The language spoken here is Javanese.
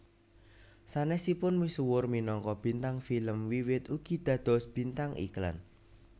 Sanesipun misuwur minangka bintang film Wiwit ugi dados bintang iklan